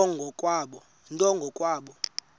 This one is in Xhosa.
nto ngo kwabo